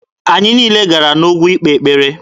Anyị niile gara n'ugwu ikpe ekpere.